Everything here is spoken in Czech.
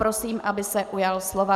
Prosím, aby se ujal slova.